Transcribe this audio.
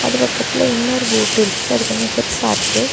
அது பக்கத்துல இன்னொரு போட் இருக்கு அது கொஞ்சம் பெருசா இருக்கு.